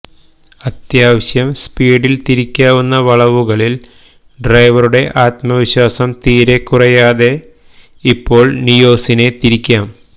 അത്യാവശ്യം സ്പീഡിൽ തിരിക്കാവുന്ന വളവുകളിൽ ഡ്രൈവറുടെ ആത്മവിശ്വാസം തീരെ കുറയ്ക്കാതെ ഇപ്പോൾ നിയോസിനെ തിരിക്കാം